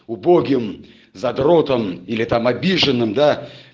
убогим задротом или там обиженным да